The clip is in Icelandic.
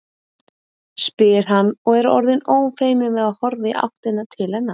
spyr hann og er orðinn ófeiminn við að horfa í áttina til hennar.